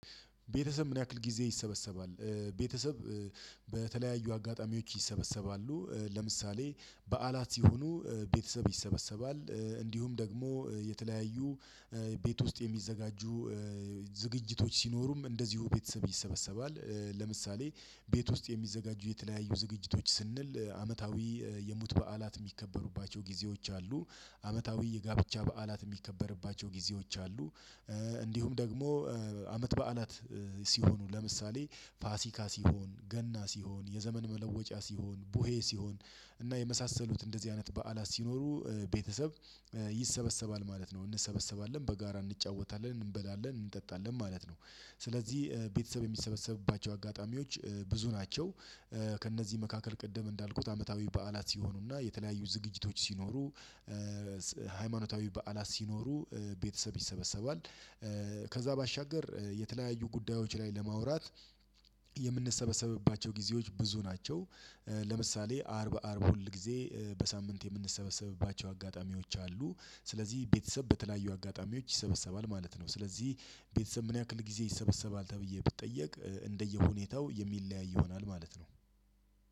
ቤተሰብ ምን ያክል ጊዜ ይሰበሰባል? ቤተሰብ በተለያዩ አጋጣሚዎች ይሰበሰባሉ ለምሳሌ በዓላት ሲሆኑ ቤተሰብ ይሰበሰባል እንዲሁም ደግሞ የተለያዩ ቤት ውስጥ የሚዘጋጁ ዝግጅቶች ሲኖሩም እንደዚሁ ቤተሰብ ይሰበሰባል። ለምሳሌ ቤት ውስጥ የሚዘጋጁ የተለያዩ ዝግጅቶች ስንል አመታዊ የሙት በዓላት የሚከበሩባቸው ጊዜዎች አሉ። አመታዊ የጋብቻ በዓላት የሚከበርባቸው ጊዜዎች አሉ። እንዲሁም ደግሞ አመት በዓላት ሲሆኑ ለምሳሌ ፋሲካ ሲሆን ገና ሲሆን የዘመን መለወጫ ሲሆን ቡሄ ሲሆን እና የመሳሰሉት እንደዚህ አይነት በዓላት ሲኖሩ ቤተሰብ ይሰበሰባል ማለት ነው። እንሰበሰባለን በጋራ እንጫወታለን እንበላለን እንጠጣለን ማለት ነው። ስለዚህ ቤተሰብ የሚሰበሰብባቸው አጋጣሚዎች ብዙ ናቸው። ከእነዚህ መካከል ቅደም እንዳልኩት አመታዊ በዓላት ሲሆኑና የተለያዩ ዝግጅቶች ሲኖሩ ሃይማኖታዊ በዓላት ሲኖሩ ቤተሰብ ይሰበሰባል። ከዛ ባሻገር የተለያዩ ጉዳዮች ላይ ለማውራት የምንሰበሰብባቸው ጊዜዎች ብዙ ናቸው። ለምሳሌ አርብ አርብ ሁል ጊዜ በሳምንት የምንሰበሰብባቸው አጋጣሚዎች አሉ። ስለዚህ ቤተሰብ በተለያዩ አጋጣሚዎች ይሰበሰባል ማለት ነው። ስለዚህ ቤተሰብ ምን ያክል ጊዜ ይሰበሰባል ተብዬ ብትጠየቅ እንደየሁኔታው የሚለያይ ይሆናል ማለት ነው።